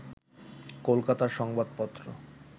কলকাতার সংবাদপত্র